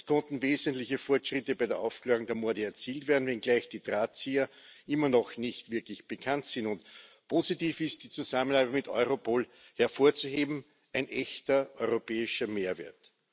Es konnten wesentliche Fortschritte bei der Aufklärung der Morde erzielt werden, wenngleich die Drahtzieher immer noch nicht wirklich bekannt sind. Und positiv ist die Zusammenarbeit mit Europol hervorzuheben, ein echter europäischer Mehrwert.